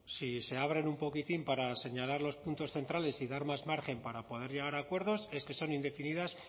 si se abren un poquitín para señalar los puntos centrales y dar más margen para poder llegar a acuerdos es que son indefinidas